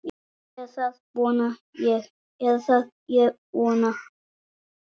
Eða það vona ég